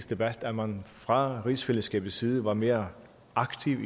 debat at man fra rigsfællesskabets side var mere aktiv